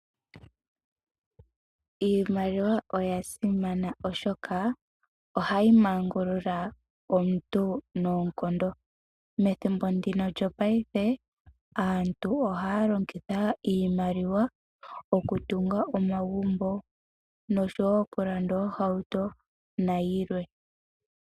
Iimaliwa oya simana oshoka ohayi mangulula omuntu noonkondo. Methimbo ndino lyopaife aantu ohaya longitha iimaliwa oku tunga omagumbo noshowo oku landa oohauto nayilwe.